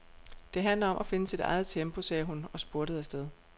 Det handler om at finde sit eget tempo, sagde hun og spurtede afsted.